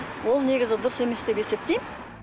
ол негізі дұрыс емес деп есептеймін